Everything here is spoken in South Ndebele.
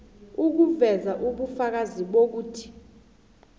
ukuveza ubufakazi bokuthi